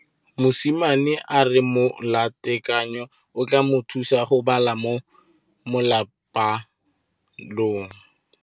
Mosimane a re molatekanyô o tla mo thusa go bala mo molapalong.